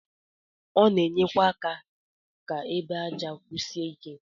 Ọ na-enyekwa aka ka egbe aja kwusie ike.